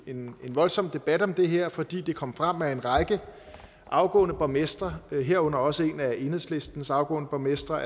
en voldsom debat om det her fordi det kom frem at en række afgående borgmestre herunder også en af enhedslistens afgående borgmestre